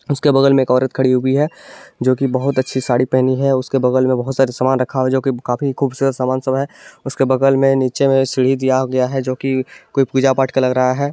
उसके बगल मे औरत खड़ी है जो की बहुत अच्छी साड़ी पहनी है उसके बगल मे बहुत सारे सामान रखा है जो की काफी खूबसूरत सामान सब है उसके बगल मे नीचे मे सीढ़ी दिया है जो की कोई पुजा पाठ का लग रहा है।